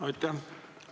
Aitäh!